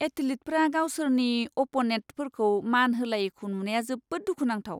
एथलीटफोरा गावसोरनि अप्प'नेन्टफोरखौ मान होलायैखौ नुनाया जोबोद दुखुनांथाव।